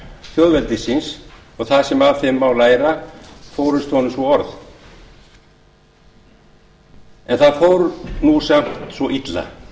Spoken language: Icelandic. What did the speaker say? þjóðveldisins og það sem af þeim má læra fórust honum svo orð en það fór nú saman svo illa